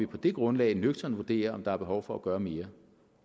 på det grundlag nøgternt vurdere om der er behov for at gøre mere